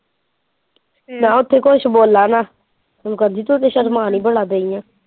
ਮੈਂ ਉੱਥੇ ਕੁਝ ਬੋਲਾ ਨਾ ਮੈਨੂੰ ਕਹਿੰਦੀ ਤੂੰ ਸ਼ਰਮਾ ਹੀ ਬੜਾ ਗਈ ਏ।